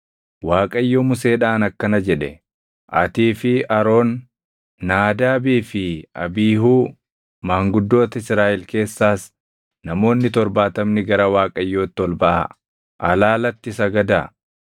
Waaqayyo Museedhaan akkana jedhe; “Atii fi Aroon, Naadaabii fi Abiihuu, maanguddoota Israaʼel keessaas namoonni torbaatamni gara Waaqayyotti ol baʼaa; alaalatti sagadaa;